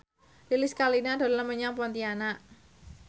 Lilis Karlina dolan menyang Pontianak